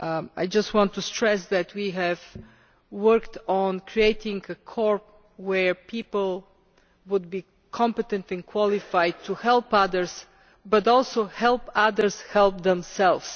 I just want to stress that we have worked on creating a corps where people would be competent and qualified to help others, but also to help others to help themselves.